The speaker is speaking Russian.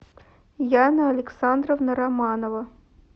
яна александровна романова